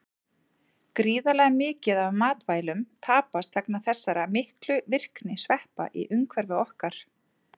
Gríðarlega mikið af matvælum tapast vegna þessara miklu virkni sveppa í umhverfi okkar.